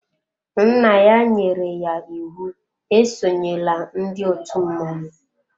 Nna ya nyere ya íwú e sonyela ndị òtù mmọnwụ.